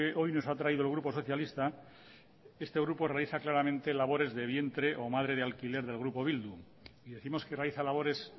hoy nos ha traído el grupo socialista este grupo realiza claramente labores de vientre o madre de alquiler del grupo bildu y décimos que realiza labores